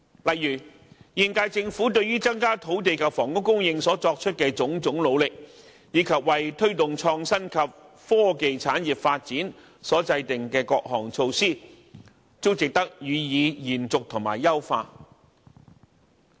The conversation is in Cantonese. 例如現屆政府對於增加土地及房屋供應所作出的種種努力，以及為推動創新及科技產業發展所制訂的各項措施，均值得予以延續和優化。